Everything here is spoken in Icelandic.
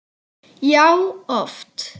Já, oft.